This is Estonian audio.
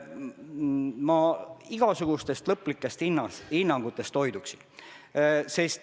Ma hoiduksin igasugustest lõplikest hinnangutest.